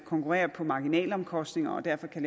konkurreres på marginalomkostninger og derfor kan